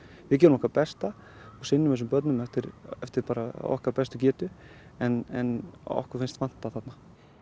við gerum okkar besta og sinnum þessum börnum eftir eftir okkar bestu getu en okkur finnst vanta þarna